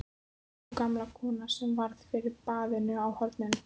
Og gamla konan sem varð fyrir barðinu á honum!